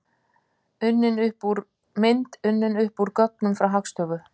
Mynd: Unnin upp úr gögnum frá Hagstofu Íslands.